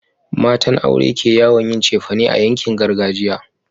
matan aure ke yawon yin cefane a yankin gargajiya